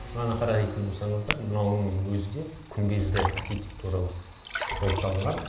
мынаны қара дейтін болсаңыздар мынауыңның өзі де күмбезді архитектуралық болып салынған